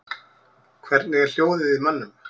Hvernig er hljóðið í mönnum?